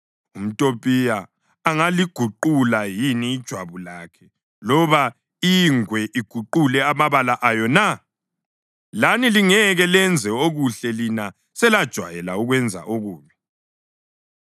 UmTopiya angaliguqula yini ijwabu lakhe loba ingwe iguqule amabala ayo na? Lani lingeke lenze okuhle lina selajwayela ukwenza okubi.